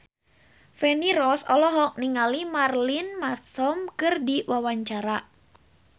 Feni Rose olohok ningali Marilyn Manson keur diwawancara